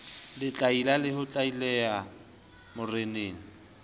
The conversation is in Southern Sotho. letlaila le ho tlaila moreneng